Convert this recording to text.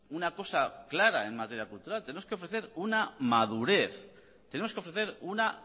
una cosa clara en materia cultural tenemos que ofrecer una madurez tenemos que ofrecer una